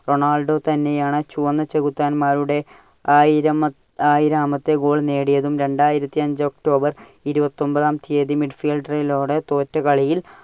Ronaldo തന്നെയാണ് ചുവന്ന ചെകുത്താന്മാരുടെ ആയിരമ~ആയിരാമത്തെ goal നേടിയതും. രണ്ടായിരത്തിയഞ്ചു october ഇരുപത്തി ഒമ്പതാം തിയതി മിഡ്ഫീൽഡറോട് തോറ്റ കളിയിൽ